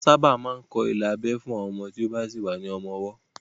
Wọ́n sábà máa ń kọ́ ilà abẹ́ fún ọmọ tí ó bá sì wà ní ọmọ ọwọ́